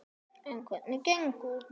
En hvernig gengur?